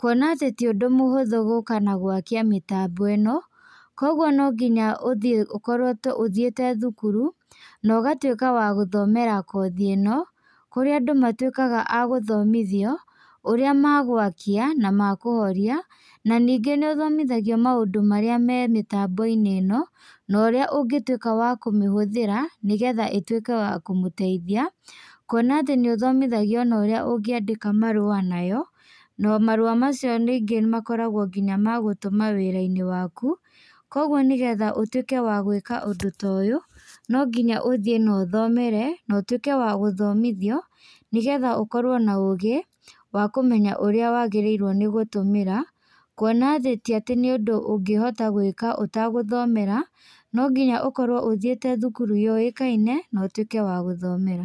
kũona atĩ ti ũndũ mũhũthũ gũka na gwakia mĩtambo ĩno, koguo nonginya ũkorwo ũthĩte thukuru, na ũgatuĩka wa gũthomera kothi ĩno, kũrĩa andũ matuĩkaga agũthomithio, ũrĩa megwakia na mekũhoria na ningĩ nĩũthomithagio maũndũ marĩa me mĩtambo-inĩ ĩno, na ũrĩa ũngĩtuĩka wa kũmĩhũthĩra nĩgetha ĩtuĩke ya kũmũteithia, kuona atĩ nĩũthomithagio ona ũrĩa ũngiandĩka marũa nayo, na marũa macio ningĩ makoragwo nginya ma gũtũma wĩra-inĩ waku, koguo nĩgetha ũtuĩke wa gũĩka ũndũ ta ũyũ, nonginya ũthiĩ na ũthomere na ũtuĩke wa gũthomithio nĩgetha ũkorwo na ũgĩ wa kũmenya ũria wagĩrĩirwo nĩ gũtũmĩra, kuona ti atĩ nĩ ũndũ ũngĩhota gwĩka ũtegũthomera, nonginya ũkorwo ũthĩte thukuru yũĩkaine, na ũtuĩke wa gũthomera.